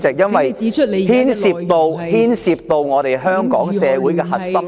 因為這牽涉到香港社會的核心利益。